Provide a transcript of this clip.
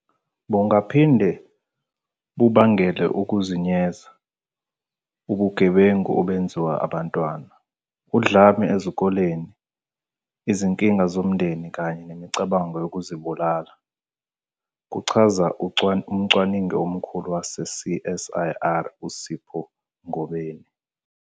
"Bungaphinde bubangele ukuzenyeza, ubugebengu obenziwa abantwana, udlame esikolweni, izinkinga zomndeni kanye nemicabango yokuzibulala," kuchaza umcwaningi omkhulu wase-CSIR uSipho Ngobeni.